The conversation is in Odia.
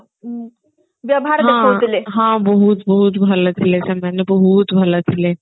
ହଁ ହଁ ବହୁତ ଭଲ ଥିଲେ ସେମାନେ ବହୁତ ଭଲ ଥିଲେ